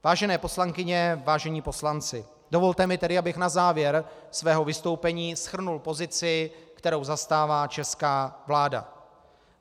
Vážené poslankyně, vážení poslanci, dovolte mi tedy, abych na závěr svého vystoupení shrnul pozici, kterou zastává česká vláda.